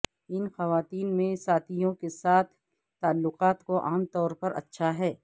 ان خواتین میں ساتھیوں کے ساتھ تعلقات کو عام طور پر اچھا ہے